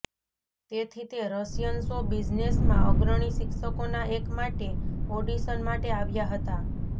તેથી તે Russian show બિઝનેસમાં અગ્રણી શિક્ષકોના એક માટે ઓડિશન માટે આવ્યા હતા